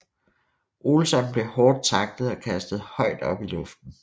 Olsson blev hårdt taklet og kastet højt op i luften